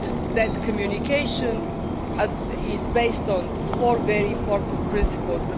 That communication is based on four very important principles.